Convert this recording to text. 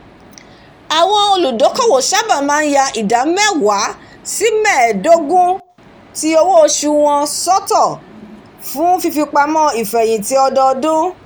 àwọn olùdókòwò sábà máa ń yà ida mewa sí medogun ti owó-oṣù wọn fún fífipamọ́ ifẹ̀yinti ọdọdún